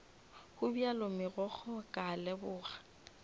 gobjalo megokgo ka a leboga